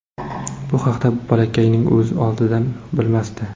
Bu haqda bolakayning o‘zi oldindan bilmasdi.